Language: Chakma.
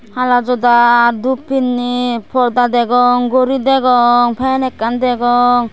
hala joda dhup pinne porda degong gori degong fan ekkan degong.